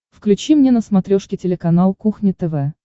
включи мне на смотрешке телеканал кухня тв